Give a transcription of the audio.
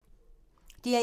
DR1